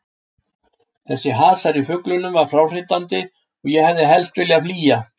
Þessi hasar í fuglunum var fráhrindandi og ég hefði helst viljað flýja.